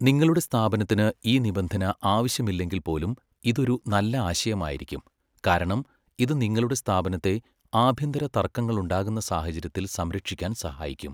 നിങ്ങളുടെ സ്ഥാപനത്തിന് ഈ നിബന്ധന ആവശ്യമില്ലെങ്കിൽ പോലും ഇത് ഒരു നല്ല ആശയമായിരിക്കും, കാരണം ഇത് നിങ്ങളുടെ സ്ഥാപനത്തെ ആഭ്യന്തര തർക്കങ്ങളുണ്ടാകുന്ന സാഹചര്യത്തിൽ സംരക്ഷിക്കാൻ സഹായിക്കും.